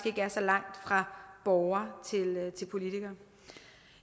er så langt fra borgere til politikere